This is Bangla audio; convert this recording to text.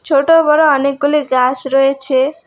ছোট বড় অনেকগুলি গাছ রয়েছে।